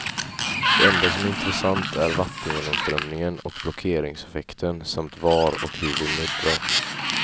Det enda som är intressant är vattengenomströmningen och blockeringseffekten, samt var och hur vi muddrar.